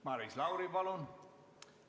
Maris Lauri, palun!